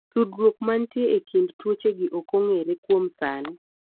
tudruod manitie e kind tuochegi ok ong'ere kuom sani